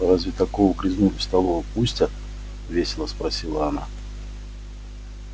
разве такого грязнулю в столовую пустят весело спросила она